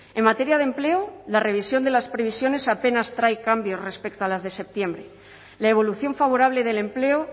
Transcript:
en materia de empleo la revisión de las previsiones apenas trae cambios respecto a las de septiembre la evolución favorable del empleo